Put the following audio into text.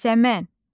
Yasəmən.